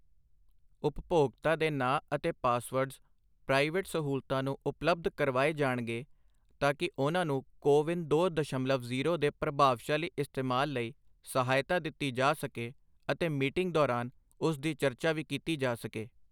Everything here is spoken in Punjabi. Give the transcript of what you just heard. ਉਪਭੋਗਤਾ ਦੇ ਨਾਂ ਅਤੇ ਪਾਸਵਰਡਜ਼ ਪ੍ਰਾਈਵੇਟ ਸਹੂਲਤਾਂ ਨੂੰ ਉਪਲਬਧ ਕਰਵਾਏ ਜਾਣਗੇ ਤਾਕੀ ਉਨ੍ਹਾਂ ਨੂੰ ਕੋਵਿਨ ਦੋ ਦਸ਼ਮਲਵ ਜੀਰੋ ਦੇ ਪ੍ਰਭਾਵਸ਼ਾਲੀ ਇਸਤੇਮਾਲ ਲਈ ਸਹਾਇਤਾ ਦਿੱਤੀ ਜਾ ਸਕੇ ਅਤੇ ਮੀਟਿੰਗ ਦੌਰਾਨ ਉਸ ਦੀ ਚਰਚਾ ਵੀ ਕੀਤੀ ਜਾ ਸਕੇ।